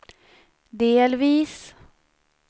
delvis